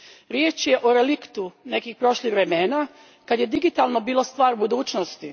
Riječ je o reliktu nekih prošlih vremena kad je digitalno bilo stvar budućnosti.